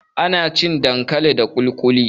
Ana cin dankali da ƙuluƙuli.